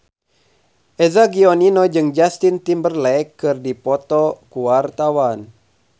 Eza Gionino jeung Justin Timberlake keur dipoto ku wartawan